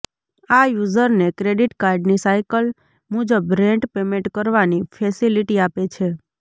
આ યુઝરને ક્રેડિટ કાર્ડની સાયકલ મુજબ રેંટ પેમેન્ટ કરવાની ફેસિલિટી આપે છે